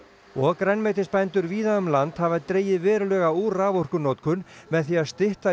og grænmetisbændur víða um land hafa dregið verulega úr raforkunotkun með því að stytta